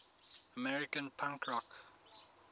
american punk rock